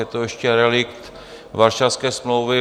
Je to ještě relikt Varšavské smlouvy.